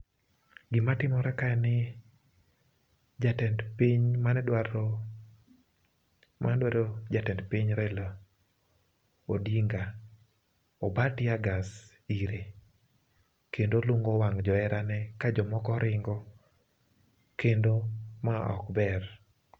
Gima timore ka en ni jatend piny mane dwaro mane dwaro jatend piny Raila Odinga oba teargas ire, kendo lungo wang' joherane ka jomoko ringo, kendo ma ok ber.